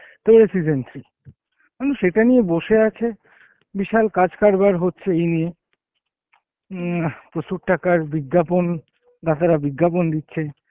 তো season three মানুষ এটা নিয়ে বসে আছে, বিশাল কাজ কারবার হচ্ছে এই নিয়ে উম প্রচুর টাকার বিজ্ঞাপন গাধারা বিজ্ঞাপন দিচ্ছে